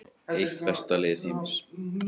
Eitt besta lið heims